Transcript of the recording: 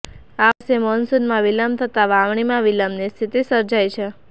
આ વર્ષે મોનસુનમાં વિલંબ થતાં વાવણીમાં વિલંબની સ્થિતિ સર્જાઈ છે